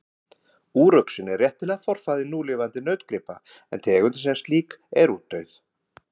úruxinn er réttilega forfaðir núlifandi nautgripa en tegundin sem slík er útdauð